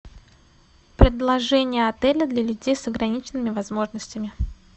предложения отеля для людей с ограниченными возможностями